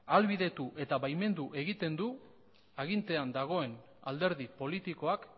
ahalbidetu eta baimendu egiten du agintean dagoen alderdi politikoak